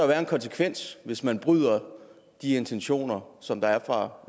være en konsekvens hvis man bryder de intentioner som der er fra